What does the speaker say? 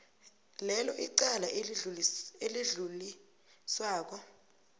lelo icala elidluliswako